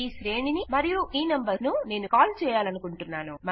ఈ శ్రేణిని మరియు ఈ నంబర్స్ ను చేయాలనుకుంటున్నాను